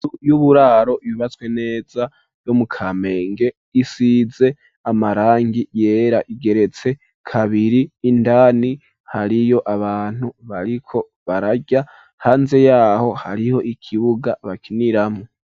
Inzu y'uburaro yubatswe neza yo mu kamenge isize amarangi yera igeretse kabiri indani hariyo abantu bariko barajya hanze yaho hariho ikibuga bakiniramwo.